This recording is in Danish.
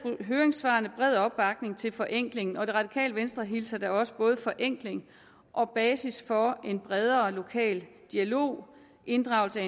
i høringssvarene bred opbakning til forenkling og det radikale venstre hilser da også både forenkling og basis for en bredere lokal dialog og inddragelse af